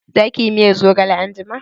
Za ki yi miyar zogale anjima?